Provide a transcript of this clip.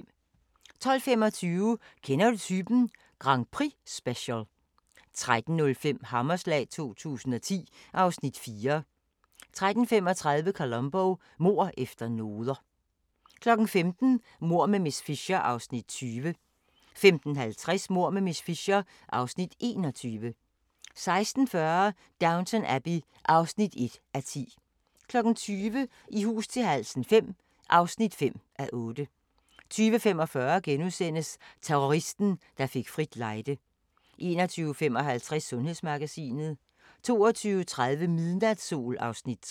12:25: Kender du typen? Grand Prix-special 13:05: Hammerslag 2010 (Afs. 4) 13:35: Columbo: Mord efter noder 15:00: Mord med miss Fisher (Afs. 20) 15:50: Mord med miss Fisher (Afs. 21) 16:40: Downton Abbey (1:10) 20:00: I hus til halsen V (5:8) 20:45: Terroristen, der fik frit lejde * 21:55: Sundhedsmagasinet 22:30: Midnatssol (Afs. 3)